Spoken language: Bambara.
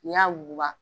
N'i y'a wuguba